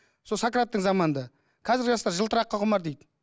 сол сократтың заманында қазіргі жастар жылтыраққа құмар дейді